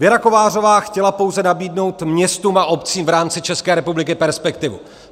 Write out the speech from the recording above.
Věra Kovářová chtěla pouze nabídnout městům a obcím v rámci České republiky perspektivu.